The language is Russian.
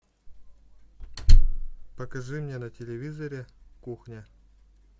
покажи мне на телевизоре кухня